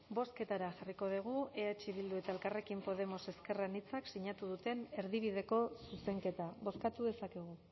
bozketara jarriko dugu eh bildu eta elkarrekin podemos ezker anitzak sinatu duten erdibideko zuzenketa bozkatu dezakegu